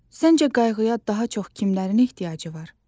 Səncə qayğıya daha çox kimlərin ehtiyacı var?